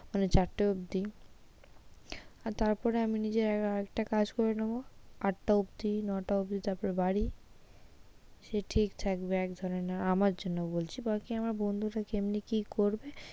মানে চারটে অব্দি আর তারপরে আমি নিজের আর একটা কাজ করে নেবো আটটা অব্দি নয়টা অব্দি তারপর বাড়ি সে ঠিক থাকবে একজনের জন্য, আমার জন্য বলছি এবার আমার বন্ধুরা কেমনি কি করবে,